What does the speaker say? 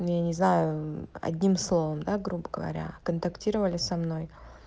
ну не знаю одним словом да грубо говоря контактировали со мной